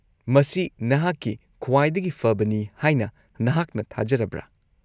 -ꯃꯁꯤ ꯅꯍꯥꯛꯀꯤ ꯈ꯭ꯋꯥꯏꯗꯒꯤ ꯐꯕꯅꯤ ꯍꯥꯏꯅ ꯅꯍꯥꯛꯅ ꯊꯥꯖꯔꯕ꯭ꯔꯥ?